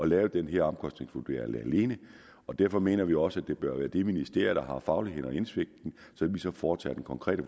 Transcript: lave den her omkostningvurdering alene og derfor mener vi også at det bør være det ministerie der har fagligheden og indsigten som så foretager den konkrete